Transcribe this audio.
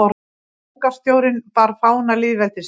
Borgarstjórinn bar fána lýðveldisins